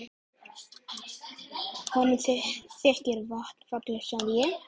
Honum þykir vatnið fallegt sagði ég.